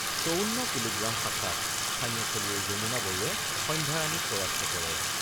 ৫৪ kilogram শাখাত স্থানীয় খেলুৱৈ যমুনা বড়োৱে সন্ধ্যাৰাণীক পৰাস্ত কৰে।